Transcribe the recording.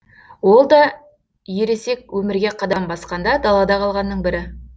ол да ересек өмірге қадам басқанда далада қалғанның бірі